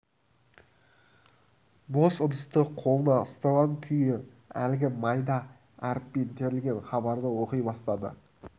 бос ыдысты қолына ұстаған күйі әлгі майда әріппен терілген хабарды оқи бастады